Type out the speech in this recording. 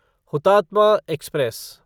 Hutatma express